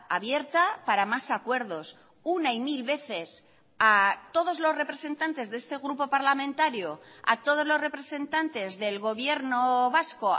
abierta para más acuerdos una y mil veces a todos los representantes de este grupo parlamentario a todos los representantes del gobierno vasco